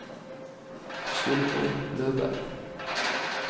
Sylvi Løberg